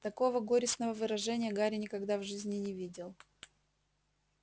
такого горестного выражения гарри никогда в жизни не видел